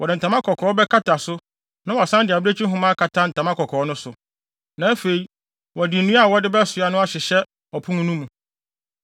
Wɔde ntama kɔkɔɔ bɛkata so na wɔasan de abirekyi nhoma akata ntama kɔkɔɔ no so. Na afei, wɔde nnua a wɔde bɛsoa no ahyehyɛ ɔpon no mu.